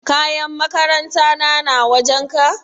Kayan makaranta na na wajen ka?